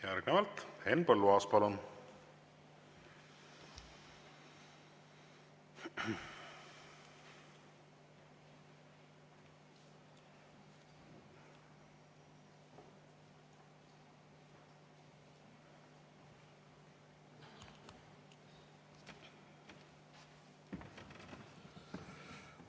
Järgnevalt Henn Põlluaas, palun!